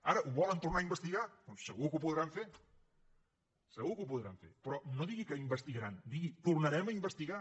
ara ho volen tornar a investigar doncs segur que ho podran fer segur que ho podran fer però no digui que investigaran digui tornarem a investigar